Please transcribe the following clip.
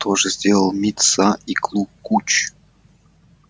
то же сделалали мит са и клу куч